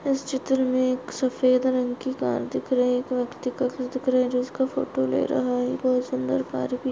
इस चित्र मे एक सफ़ेद रंग की कार दिखाई दे रही है एक व्यक्ति का घर दिख रहा जो इसका फोटो ले रहा है बहुत सुंदर --